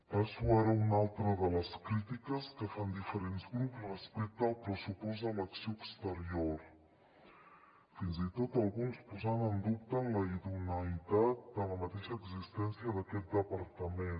passo ara a una altra de les crítiques que fan diferents grups respecte al pressupost a l’acció exterior fins i tot alguns posant en dubte la idoneïtat de la mateixa existència d’aquest departament